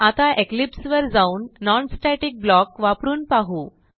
आता इक्लिप्स वर जाऊन non स्टॅटिक ब्लॉक वापरून पाहू